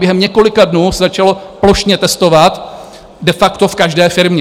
Během několika dnů se začalo plošně testovat de facto v každé firmě.